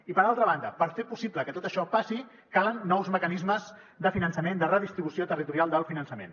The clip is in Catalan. i per altra banda per fer possible que tot això passi calen nous mecanismes de finançament de redistribució territorial del finançament